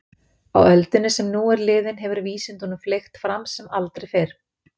Á öldinni sem nú er liðin hefur vísindunum fleygt fram sem aldrei fyrr.